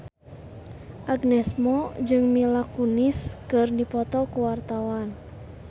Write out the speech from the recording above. Agnes Mo jeung Mila Kunis keur dipoto ku wartawan